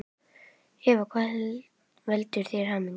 Eva: Hvað veldur þér hamingju?